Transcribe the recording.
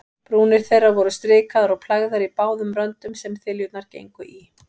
Brúnir þeirra voru strikaðar og plægðar í báðum röndum, sem þiljurnar gengu í.